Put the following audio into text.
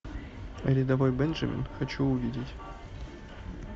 рядовой бенджамин хочу увидеть